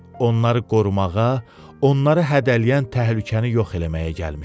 Onları qorumağa, onları hədələyən təhlükəni yox eləməyə gəlmişdi.